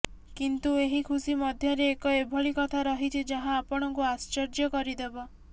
କିନ୍ତୁ ଏହି ଖୁସି ମଧ୍ୟରେ ଏକ ଏଭଳି କଥା ରହିଛି ଯାହା ଆପଣଙ୍କୁ ଆଶ୍ଚର୍ଯ୍ୟ କରିଦେବ